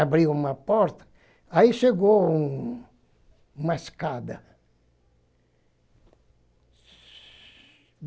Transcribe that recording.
Abriu uma porta, aí chegou um uma escada.